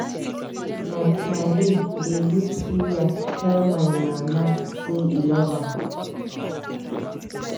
My paale dey use suya tell my mama sey e love am.